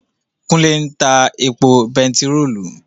Kúnlé ń ta epo bèntiróòlù